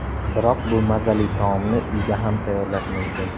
Biroq bu mazali taomni uyda ham tayyorlash mumkin.